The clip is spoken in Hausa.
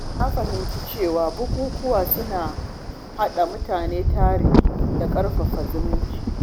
Na fahimci cewa bukukuwa suna haɗa mutane tare da ƙarfafa zumunci.